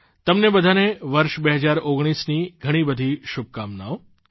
તમને બધાને વર્ષ 2019ની ઘણી બધી શુભકામનાઓ